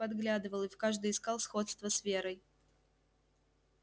подглядывал и в каждой искал сходство с верой